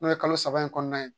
N'o ye kalo saba in kɔnɔna ye